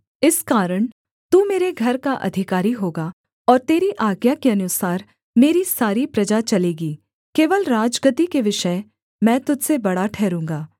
इस कारण तू मेरे घर का अधिकारी होगा और तेरी आज्ञा के अनुसार मेरी सारी प्रजा चलेगी केवल राजगद्दी के विषय मैं तुझ से बड़ा ठहरूँगा